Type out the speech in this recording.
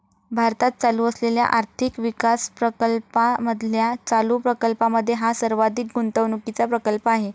भारतात चालू असलेल्या आर्थिक विकासप्रकल्पामधल्या चालू प्रकल्पामध्ये हा सर्वाधिक गुंतवणुकीचा प्रकल्प आहे.